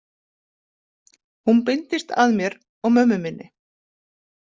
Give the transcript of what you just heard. Hún beindist að mér og mömmu minni.